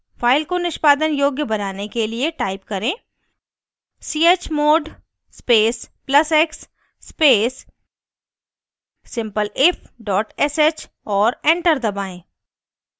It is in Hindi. file को निष्पादन योग्य बनाने के लिए type करें: chmod space plus x space simpleif sh और enter दबाएं